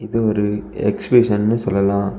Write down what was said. இது ஒரு எக்சிபிஷன்னு சொல்லலா.